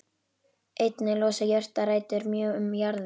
Einnig losa jurtarætur mjög um jarðveg.